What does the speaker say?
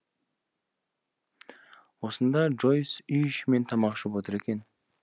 осында джойс үй ішімен тамақ ішіп отыр екен